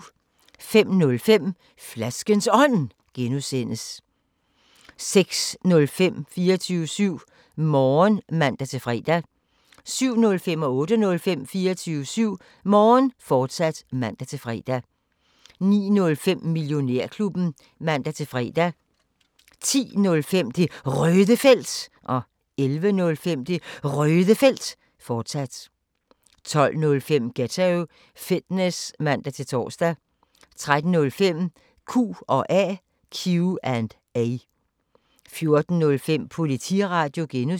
05:05: Flaskens Ånd (G) 06:05: 24syv Morgen (man-fre) 07:05: 24syv Morgen, fortsat (man-fre) 08:05: 24syv Morgen, fortsat (man-fre) 09:05: Millionærklubben (man-fre) 10:05: Det Røde Felt 11:05: Det Røde Felt, fortsat 12:05: Ghetto Fitness (man-tor) 13:05: Q&A 14:05: Politiradio (G)